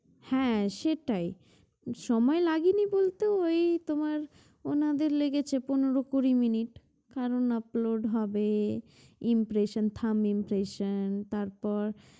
হ্যাঁ সেটাই সময় লাগেনি বলতে ঐ তোমার ওনাদের লেগেছে পনেরো কুড়ি মিনিট কারণ upload হবে impression thumb impression তারপর